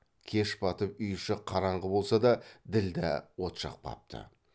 кеш батып үй іші қараңғы болса да ділдә от жақпапты